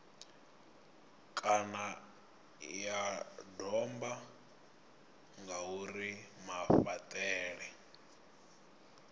kana ya domba ngauri mafhaṱele